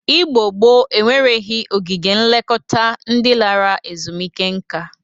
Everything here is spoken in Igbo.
Igbo gboo enwereghi ogige nlekọta ndị lara ezumeike nka.